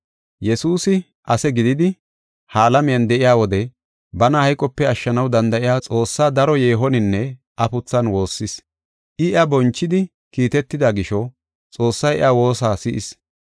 Yesuusi ase gididi ha alamiyan de7iya wode bana hayqope ashshanaw danda7iya Xoossaa daro yeehoninne afuthan woossis. I, iya bonchidi kiitetida gisho Xoossay iya woosa si7is.